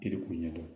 E de k'o ɲɛ dɔn